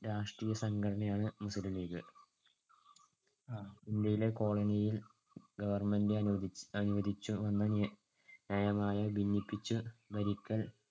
രാഷ്ട്രീയസംഘടനയാണ് മുസ്ലീം ലീഗ്. ഇന്ത്യയിലെ colony യിൽ government അനുവദിച്ചു~ അനുവദിച്ചുവന്ന നയമായ ഭിന്നിപ്പിച്ചു ഭരിക്കൽ